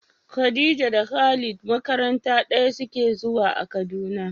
Khadija da Khalid makaranta ɗaya suke zuwa a Kaduna.